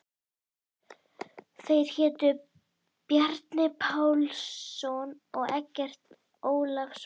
Þeir hétu Bjarni Pálsson og Eggert Ólafsson.